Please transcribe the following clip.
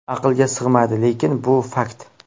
Aqlga sig‘maydi, lekin bu fakt.